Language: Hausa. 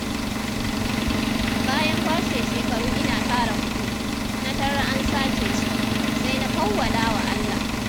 Bayan kwashe shekaru ina tara kuɗi, na tarar an sace su, sai na fawwalawa Allah..